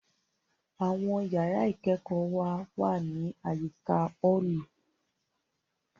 Àwọn yàrá ìkẹ́kọ̀ọ́ wa wá ní àyíká ọ́ọ̀lù